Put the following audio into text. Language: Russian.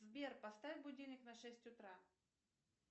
сбер поставь будильник на шесть утра